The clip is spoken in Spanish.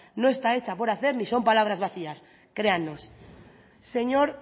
no está hecha por hacer si son palabras vacías créannos señor